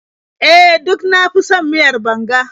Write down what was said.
E, duk na fi son miyar banga.